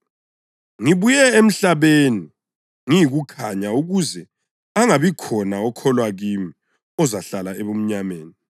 Ngibuye emhlabeni ngiyikukhanya ukuze angabikhona okholwa kimi ozahlala ebumnyameni.